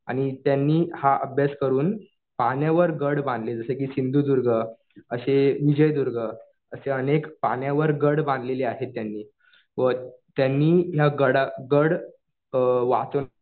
आणि त्यांनी हा अभ्यास करून पाण्यावर गड बांधले. जसं कि सिंधुदुर्ग असे विजयदुर्ग असे अनेक पाण्यावर गड बांधलेले आहेत त्यांनी. व त्यांनी ह्या गड वाचव